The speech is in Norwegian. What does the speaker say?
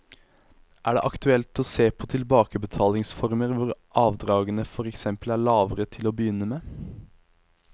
Er det aktuelt å se på tilbakebetalingsformer hvor avdragene for eksempel er lavere til å begynne med?